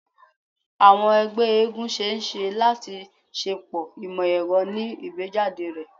Awọn ẹgbẹ eégún ṣee ṣe lati ṣepọ imọ-ẹrọ ni igbejade rẹ